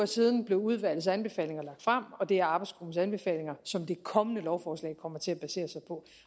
siden blev udvalgets anbefalinger lagt frem og det er arbejdsgruppens anbefalinger som det kommende lovforslag kommer til at basere sig på